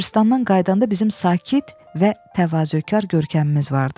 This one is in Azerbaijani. Qəbiristanlıqdan qayıdanda bizim sakit və təvazökar görkəmimiz vardı.